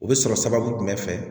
U bɛ sɔrɔ sababu jumɛn fɛ